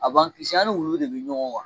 A ban kisi ani wulu de bi ɲɔgɔn ga.